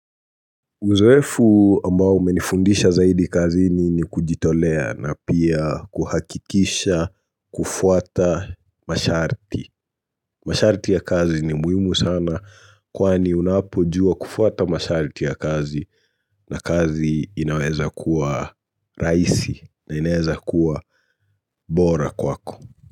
Uzoefu ambao umenifundisha zaidi kazini ni kujitolea na pia kuhakikisha kufuata masharti. Masharti ya kazi ni muhimu sana kwani unapojua kufuata masharti ya kazi na kazi inaweza kuwa rahisi na inaweza kuwa bora kwako.